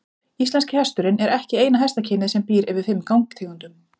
Íslenski hesturinn er ekki eina hestakynið sem býr yfir fimm gangtegundum.